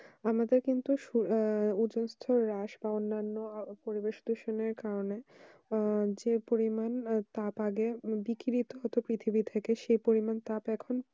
আমাদের কিন্তু আহ ওজন স্তর হাঁস পাওয়ার পরিবেশ দূষণ কারণে আহ যে পরিমাণ তাপ আগে বিকৃত হতোপৃথিবী থেকে সেই পরিমাণ তাপ এখন